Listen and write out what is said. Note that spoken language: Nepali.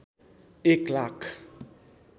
एक लाख